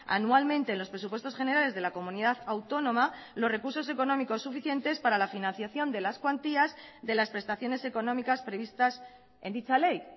anualmente en los presupuestos generales de la comunidad autónoma los recursos económicos suficientes para la financiación de las cuantías de las prestaciones económicas previstas en dicha ley